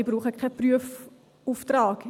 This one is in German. Ich brauche keinen Prüfauftrag.